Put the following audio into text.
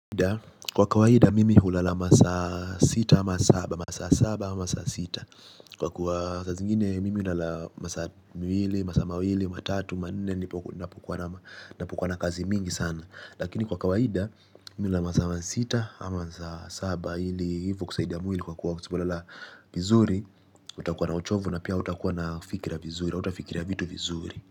Kwa kawaida mimi hulala masa sita ama saba. Kwa kuwa saa zingine mimi hulala masa miwili, masaa mawili, matatu, manne. Napokuwa na kazi mingi sana lakini kwa kawaida mimi hulala masaa sita ama masaa saba. Hili hivo kusaidia mwili kwa kuwa usipolala vizuri utakuwa na uchovu na pia hautakuwa na fikira vizuri hautafikira vitu vizuri.